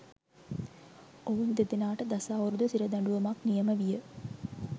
ඔවුන් දෙදෙනාට දස අවුරුදු සිර දඬුවමක්‌ නියම විය